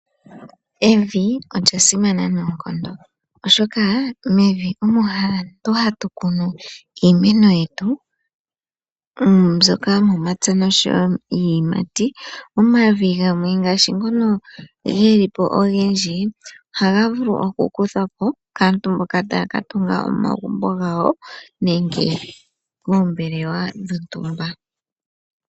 Evi olya simana noonkondo oshoka mevi omo aantu hatu kunu iimeno yetu mbyoka yomomapya nosho wo iiyimati. Omavi gamwe ngaashi ngono ge li po ogendji ohaga vulu okukuthwa po kaantu mboka taya ka tunga omagumbo gawo nenge oombelewa dhontumba.